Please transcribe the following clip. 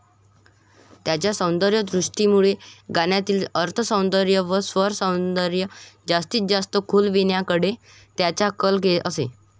त्यांच्या सौंदर्यदृष्टीमुळे गाण्यातील अर्थसौंदर्य व स्वरसौंदर्य जास्तीत जास्त खुलविण्याकडे त्यांचा कल असे.